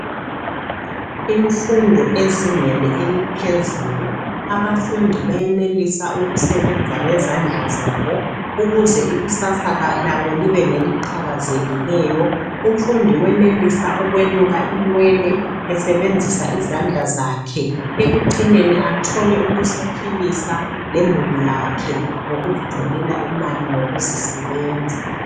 Imfundo ezingeni eliphezulu. Abafundi bayenelisa ukusebenza ngezandla zabo ukuze ikusasa labo libe ngeliqhakazekileyo. Umfundi uyenelisa ukweluka inwele esebenzisa izandla zakhe. Ekucineni athole ukuziphilisa lemuli yakhe ngokuzitholela imali ngokuzisebenza.